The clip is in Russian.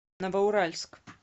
новоуральск